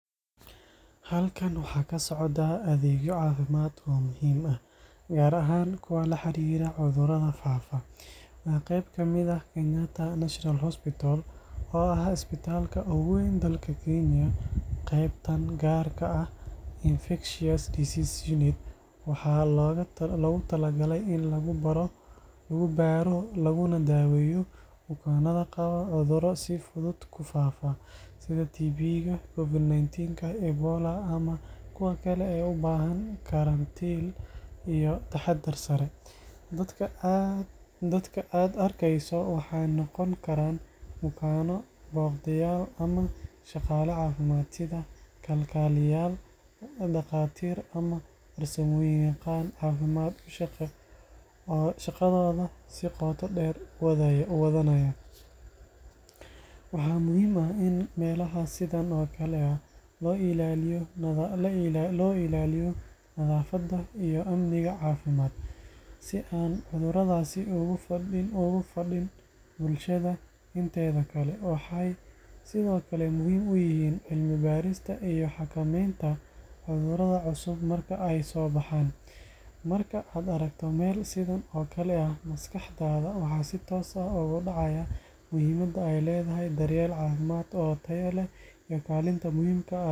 Halkan waxa ka socdaa adeegyo caafimaad oo muhiim ah, gaar ahaan kuwa la xiriira cudurrada faafa. Waa qeyb ka mid ah Kenyatta National Hospital, oo ah isbitaalka ugu weyn dalka Kenya. Qeybtan gaarka ah oo loo yaqaan Infectious Diseases Unit waxaa loogu talagalay in lagu baaro, lagu barto, laguna daweeyo bukaanada qaba cudurro si fudud u faafa sida: TB COVID-19 Ebola Iyo cudurro kale oo u baahan karantiil iyo taxaddar sare. Dadka aad arkeyso goobtan waxa ay noqon karaan: Bukaano la karantiilay Shaqaale caafimaad sida kalkaliye yaal, dhaqaatiir, ama farsamayaqaano caafimaad oo si qoto dheer ugu hawlan badbaadinta nolosha iyo kahortagga faafitaanka cudurrada. Waxaa muhiim ah in meelaha sidan oo kale ah si joogto ah loo ilaaliyo: Nadaafadda Amniga caafimaadka Si aysan cudurradu ugu faa’in bulshada inteeda kale. Waaxaha sidan oo kale ah waxay sidoo kale muhiim u yihiin: Cilmi-baarista Xakamaynta cudurrada cusub marka ay soo baxaan. Marka aad aragto meel sidan oo kale ah, maskaxdaada si toos ah waxa ay u xasuusanaysaa muhiimadda uu leeyahay daryeel caafimaad oo tayo leh iyo kaalinta muhiimka ah ee xarumaha caafimaadka ay ku leeyihiin badbaadinta bulshada.